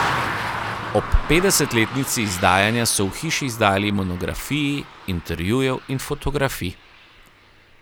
Ob petdesetletnici izdajanja so v hiši izdali monografiji intervjujev in fotografij.